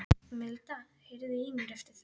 Milda, heyrðu í mér eftir átta mínútur.